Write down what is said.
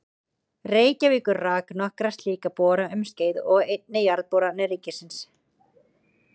Reykjavíkur rak nokkra slíka bora um skeið og einnig Jarðboranir ríkisins.